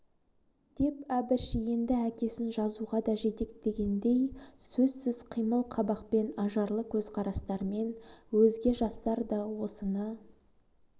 деп әбіш енді әкесін жазуға да жетектегендей сөзсіз қимыл қабақпен ажарлы көзқарастармен өзге жастар да осыны